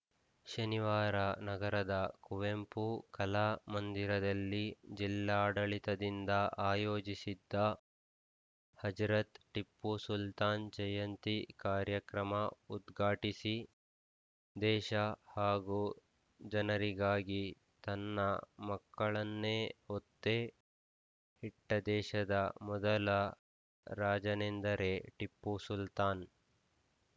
ಶನಿವಾರ ನಗರದ ಕುವೆಂಪು ಕಲಾ ಮಂದಿರದಲ್ಲಿ ಜಿಲ್ಲಾಡಳಿತದಿಂದ ಆಯೋಜಿಸಿದ್ದ ಹಜರತ್‌ ಟಿಪ್ಪು ಸುಲ್ತಾನ್‌ ಜಯಂತಿ ಕಾರ್ಯಕ್ರಮ ಉದ್ಘಾಟಿಸಿ ದೇಶ ಹಾಗೂ ಜನರಿಗಾಗಿ ತನ್ನ ಮಕ್ಕಳನ್ನೇ ಒತ್ತೆ ಇಟ್ಟದೇಶದ ಮೊದಲ ರಾಜನೆಂದೆರೆ ಟಿಪ್ಪು ಸುಲ್ತಾನ್‌